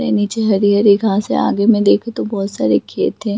निचे हरी-हरी घास हैआगे मे देखु तो बहुत सारी खेत है।